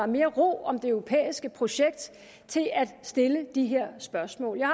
mere ro om det europæiske projekt til at stille det her spørgsmål jeg